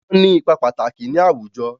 Wọ́n ní ipa pàtàkì ní àwùjọ.